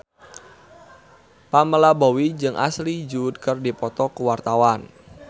Pamela Bowie jeung Ashley Judd keur dipoto ku wartawan